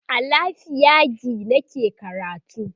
a lafiagi nake karatu